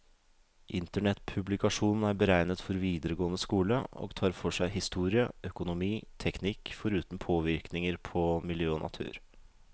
Internettpublikasjonen er beregnet for videregående skole, og tar for seg historie, økonomi, teknikk, foruten påvirkninger på miljø og natur.